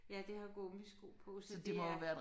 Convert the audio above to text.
Ja det har gummisko på så det er